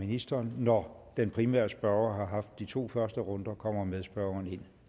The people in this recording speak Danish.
ministeren når den primære spørger har haft de to første runder kommer medspørgeren ind